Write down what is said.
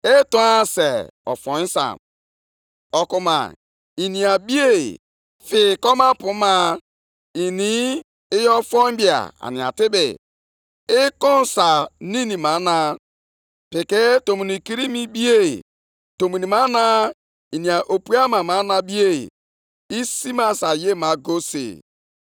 Nʼihi na ị kwakọtala akụ nke ọtụtụ mba dị iche iche, ndị ahụ fọdụrụ ga-abịakwa kwakọrọ ihe niile i nwere. Nʼihi na ị wụsịala ọbara ndị mmadụ, i bibiela ọtụtụ ala na obodo na ndị niile bi nʼime ha.